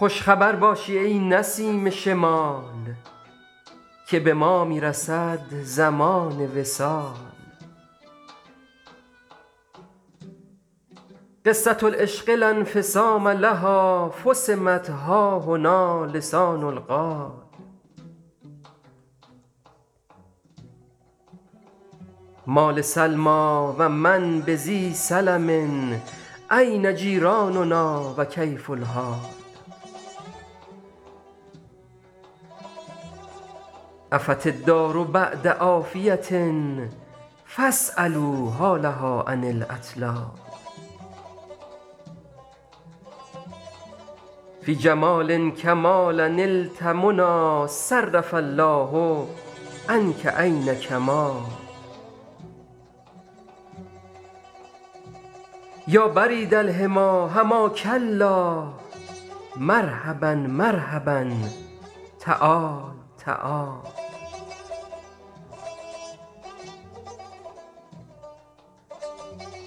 خوش خبر باشی ای نسیم شمال که به ما می رسد زمان وصال قصة العشق لا انفصام لها فصمت ها هنا لسان القال ما لسلمی و من بذی سلم أین جیراننا و کیف الحال عفت الدار بعد عافیة فاسألوا حالها عن الاطلال فی جمال الکمال نلت منی صرف الله عنک عین کمال یا برید الحمی حماک الله مرحبا مرحبا تعال تعال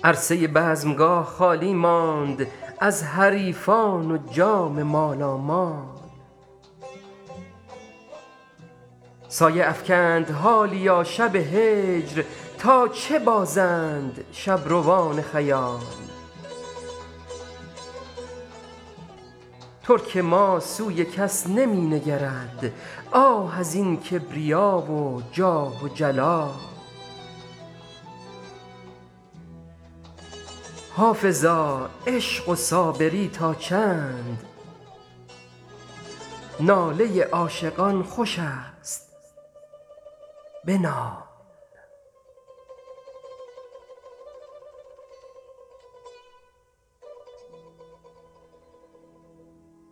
عرصه بزمگاه خالی ماند از حریفان و جام مالامال سایه افکند حالیا شب هجر تا چه بازند شبروان خیال ترک ما سوی کس نمی نگرد آه از این کبریا و جاه و جلال حافظا عشق و صابری تا چند ناله عاشقان خوش است بنال